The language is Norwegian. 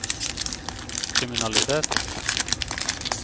kriminalitet